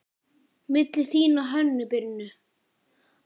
Milli þín og Hönnu Birnu?